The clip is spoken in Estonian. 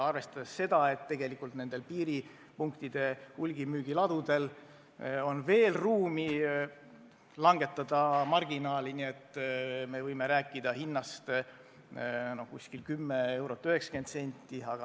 Arvestades seda, et tegelikult on piiriäärsetel hulgimüügiladudel veel ruumi marginaali vähendada, me võime rääkida hinnast umbes 10 eurot ja 90 senti.